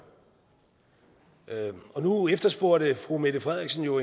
nu efterspurgte fru mette frederiksen jo